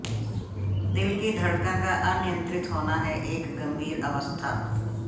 दिल की धड़कन का अनियंत्रित होना है एक गंभीर अवस्था